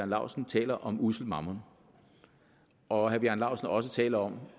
laustsen taler om ussel mammon og han også også taler om